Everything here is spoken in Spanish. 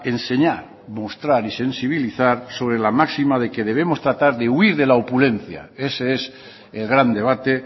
enseñar mostrar y sensibilizar sobre la máxima de que debemos tratar de huir de opulencia ese es el gran debate